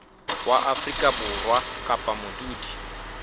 wa afrika borwa kapa modudi